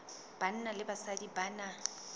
banna le basadi ba na